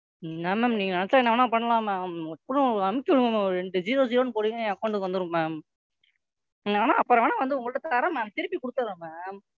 என்ன Ma'am நீங்க நினைச்சா என்ன வேணா பண்ணலாம் Ma'am டப்புன்னு அனுப்பிச்சு விடுங்க ஒரு ரெண்டு ஜீரோ ஜீரோன்னு போட்டீங்கன்னா என் Account க்கு வந்துடும் Ma'am நான்வேணா அப்புறம் வேணா உங்கள்ட்ட தர்றேன் Ma'am திருப்பி கொடுக்குறேன் Ma'am.